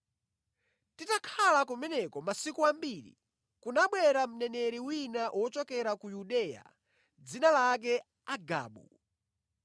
Titakhala kumeneko masiku ambiri, kunabwera mneneri wina wochokera ku Yudeya dzina lake Agabu.